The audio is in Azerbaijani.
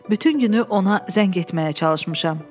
Bütün günü ona zəng etməyə çalışmışam.